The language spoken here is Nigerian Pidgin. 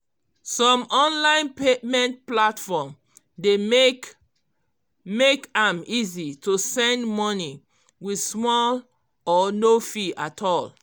some online payment platform dey make make am easy to send money with small or no fee at all